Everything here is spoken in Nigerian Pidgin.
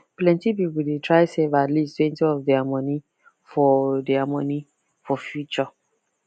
plenty people dey try save at leasttwentyof their money for their money for future